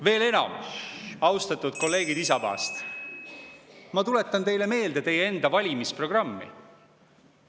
Veel enam, austatud kolleegid Isamaast, ma tuletan teile meelde teie enda valimisprogrammi.